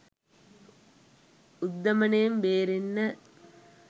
උද්දමනයෙන් බේරෙන්න.